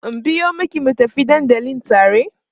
in biyo maki mu tafi dandali tare?